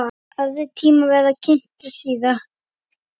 Aðrir tímar verða kynntir síðar.